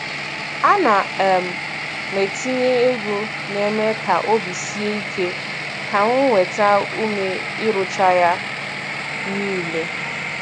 A na um m etinye egwu na-eme ka obi sie ike ka m nweta ume ịrụcha ya niile.